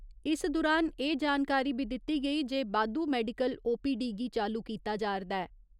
इस दुरान एह् जानकारी बी दित्ती गेई जे बाद्दू मैडिकल ओ.पी.डी गी चालू कीता जा'रदा ऐ।